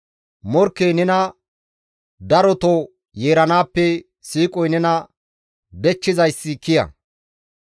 Morkkey nena daroto yeeranaappe siiqoy nena dechchizayssi kiya.